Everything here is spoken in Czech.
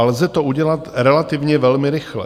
A lze to udělat relativně velmi rychle.